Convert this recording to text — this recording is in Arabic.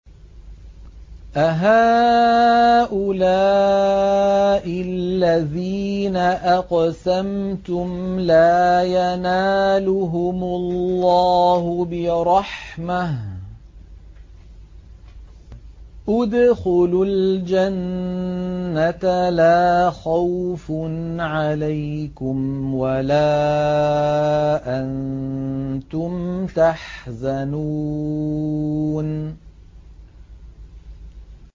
أَهَٰؤُلَاءِ الَّذِينَ أَقْسَمْتُمْ لَا يَنَالُهُمُ اللَّهُ بِرَحْمَةٍ ۚ ادْخُلُوا الْجَنَّةَ لَا خَوْفٌ عَلَيْكُمْ وَلَا أَنتُمْ تَحْزَنُونَ